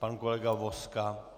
Pan kolega Vozka?